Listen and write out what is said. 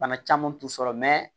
Bana caman t'u sɔrɔ